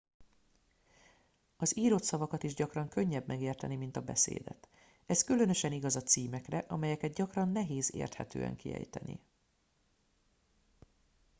az írott szavakat is gyakran könnyebb megérteni mint a beszédet ez különösen igaz a címekre amelyeket gyakran nehéz érthetően kiejteni